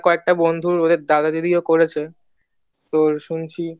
কয়েকটা বন্ধু দাদা দিদিও করেছে তো শুনেছি